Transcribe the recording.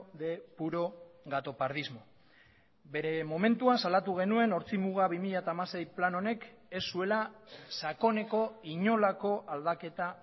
de puro gatopardismo bere momentuan salatu genuen ortzimuga bi mila hamasei plan honek ez zuela sakoneko inolako aldaketa